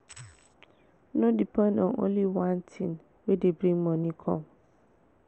no depend on only one thing wey dey bring moni come